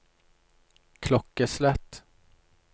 klokkeslett